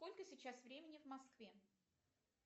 сколько сейчас времени в москве